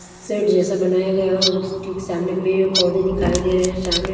seat जैसा बनाया गया हो ठीक सामने पेड़ पौधे दिखाई दे रहे है सामने--